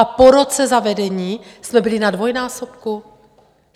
A po roce zavedení jsme byli na dvojnásobku.